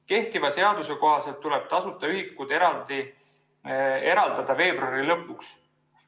Kehtiva seaduse kohaselt tuleb tasuta ühikud eraldada veebruari lõpuks.